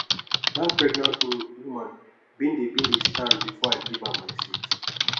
dat pregnant um woman bin dey bin dey stand before i give am my seat